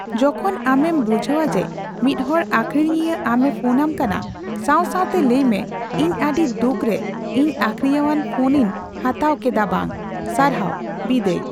ᱡᱚᱠᱷᱚᱱ ᱟᱢ ᱮᱢ ᱵᱩᱡᱷᱟᱹᱣᱼᱡᱮ ᱢᱤᱫᱦᱚᱲ ᱟᱹᱠᱷᱨᱤᱧᱤᱭᱟᱹ ᱟᱢ ᱮ ᱯᱷᱚᱱ ᱟᱢ ᱠᱟᱱᱟ, ᱥᱟᱣ ᱥᱟᱣᱛᱮ ᱞᱟᱹᱭᱢᱮ, ᱤᱧ ᱟᱹᱰᱤ ᱫᱩᱠᱨᱮ, ᱤᱧ ᱟᱹᱠᱷᱨᱤᱧᱭᱟᱹᱣᱟᱜ ᱯᱷᱚᱱ ᱤᱧ ᱦᱟᱛᱟᱣ ᱠᱮᱫᱟ ᱵᱟᱝ ᱾ ᱥᱟᱨᱦᱟᱣ, ᱵᱤᱫᱟᱹᱭ ᱾